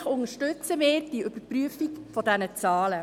Natürlich unterstützen wir die Überprüfung der Zahlen.